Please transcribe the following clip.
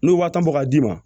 N'o waa tan bɔ k'a d'i ma